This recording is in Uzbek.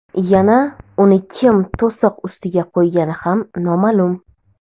Yana uni kim to‘siq ustiga qo‘ygani ham noma’lum.